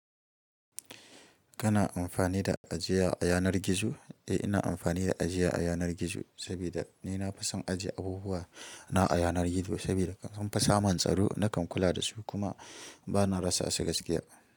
Kana amfani da ajiya a yanar gizo? Eh ina amfani da ajiya a yanar gizo sabida ni na fi son ajiye abubuwa na a yanar gizo sabida sunfi samun tsaro nakan kula dasu kuma bana rasa su gaskiya.